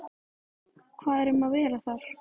Viltu fyrirgefa mér hvernig ég hef látið við þig?